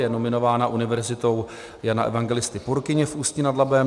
Je nominována Univerzitou Jana Evangelisty Purkyně v Ústí nad Labem.